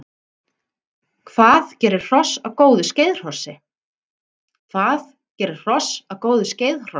Hvað gerir hross að góðu skeiðhrossi?